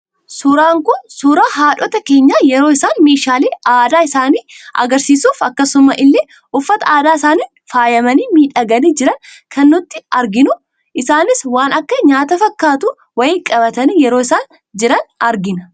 Suuraan Kun, suuraa haadhota keenya, yeroo isaan meeshaalee aadaa isaanii agarsiisuuf, akkasumaa illee uffata aadaa isaaniin faayamanii miidhaganii jiran kan nuti arginu. Isaanis waan akka nyaata fakkaatu wayii qabatanii yeroo isaan jiran argina.